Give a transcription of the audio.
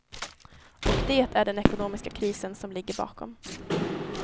Och det är den ekonomiska krisen som ligger bakom.